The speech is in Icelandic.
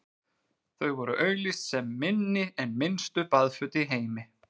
þau voru auglýst sem „minni en minnstu baðföt í heimi“